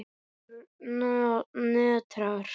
Hann nötrar.